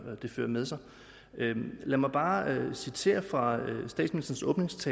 med sig lad mig bare citere fra statsministerens